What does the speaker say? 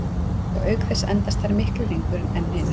og auk þess endast þær miklu lengur en hinar